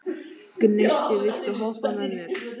Gneisti, viltu hoppa með mér?